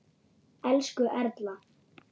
Elsku Erla.